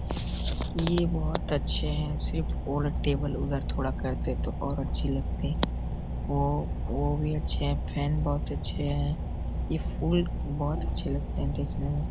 ये बहुत अच्छे हैं सिर्फ और टेबल उधर थोड़ा करते तो और अच्छे लगते वो वो भी अच्छे हैं फैन भी बहुत अच्छे हैं ये फूल बहुत अच्छे लगते हैं देखने में।